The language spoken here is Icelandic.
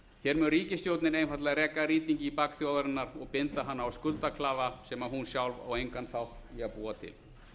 hér mun ríkisstjórnin einfaldlega reka rýting í bak þjóðarinnar og binda hana á skuldaklafa sem hún sjálf á engan þátt í að búa til